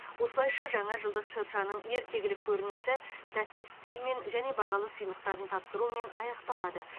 осылайша жаңа жылдық шыршаның ертегілік көрінісі тәтті үстелмен және бағалы сыйлықтарын тапсырумен аяқталады